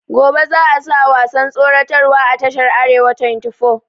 Gobe za a sa wasan tsoratar wa a tashar arewa twenty four